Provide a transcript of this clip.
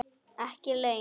Ekki laun.